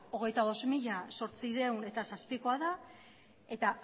hogeita bost mila zortziehun eta zazpikoa da eta